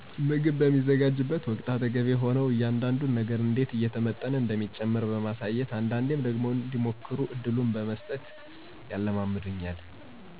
ምግብ በማዘጋጅበት ወቅት አጠገቤ ሆነው እያንዳዱን ነገር እንዴት እየተመጠነ እንደሚጨመር በማሳየት አንዳንዴም ደግሞ እንዲሞክሩ እድሉን በመሥጠት